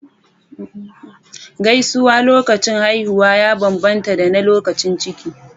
Gaisuwa lokacin haihuwa ya bambanta da na lokacin ciki.